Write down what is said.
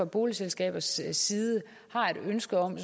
boligselskabers side har et ønske om at